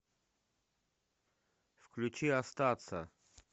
включи остаться